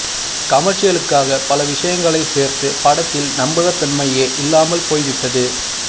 கமர்ஷியலுக்காக பல விஷயங்களை சேர்த்து படத்தில் நம்பகத்தன்மையே இல்லாமல் போய் விட்டது